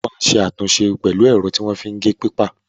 O máa ṣe àtúnṣe pẹ̀lú ẹ̀rọ tí wọ́n fi ń gé pépà.